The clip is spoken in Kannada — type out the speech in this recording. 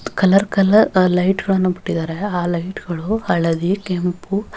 ಕಲರ್ ಕಲರ್ ಲೈಟ್ಗ ಳನ್ನು ಬಿಟ್ಟಿದ್ದಾರೆ ಆಹ್ಹ್ ಲೈಟ್ಗ ಳು ಹಳದಿ ಕೆಂಪು --